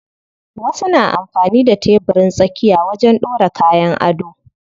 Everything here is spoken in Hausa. Wasu na amfani da tebirin tsakiya wajen ɗora kayan ado.